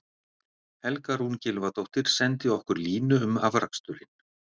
Helga Rún Gylfadóttir sendi okkur línu um afraksturinn: